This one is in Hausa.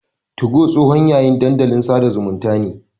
Tugo tsohon yayin dandalin sada zumunta ne.